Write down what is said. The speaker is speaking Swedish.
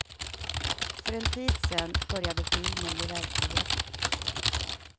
För en tid sen började filmen bli verklighet.